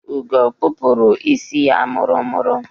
Ugo kpụrụ isi ya mụrụ-mụrụ.